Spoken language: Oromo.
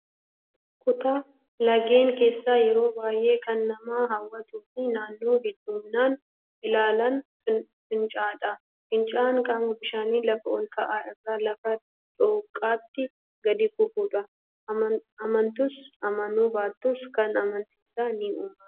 Kutaa laggeenii keessaa yeroo baay'ee kan nama hawwatuu fi namoonni hedduminaan ilaalan fincaa'aadha. Fincaa'aan qaama bishaanii lafa ol ka'aa irraa lafa dhooqatti gadi kufudha. Amantus amanuu baattus Kun anniisaa ni uuma